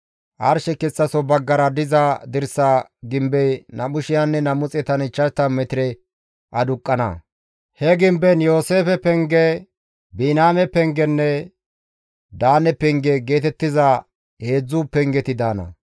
Arshe kessaso baggara diza dirsa gimbey 2,250 metire aduqqana; he gimbezan Yooseefe penge, Biniyaame pengenne Daane penge geetettiza heedzdzu pengeti daana.